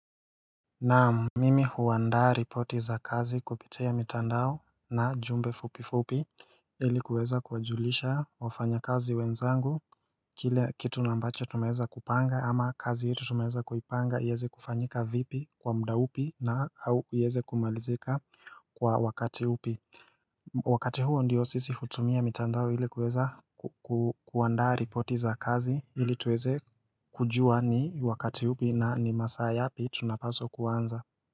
Naam Mimi huandaa ripoti za kazi kupitia mitandao na jumbe fupifupi ili kuweza kujulisha wafanya kazi wenzangu Kile kitu na ambacho tumeweza kupanga ama kazi yetu tumeweza kuipanga iweze kufanyika vipi kwa muda upi na au iweze kumalizika kwa wakati upi Wakati huo ndiyo sisi hutumia mitandao ili kuweza kuandaa ripoti za kazi ili tuweze kujua ni wakati upi na ni masaa yapi tunapaswa kuanza.